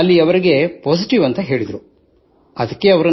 ಅಲ್ಲಿ ಅವರಿಗೆ ಪಾಸಿಟಿವ್ ಎಂದು ಹೇಳಲಾಯಿತು